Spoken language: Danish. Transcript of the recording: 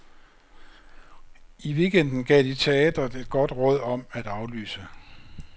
I weekenden gav de teatret et godt råd om at aflyse.